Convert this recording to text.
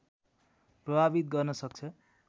प्रभावित गर्न सक्छ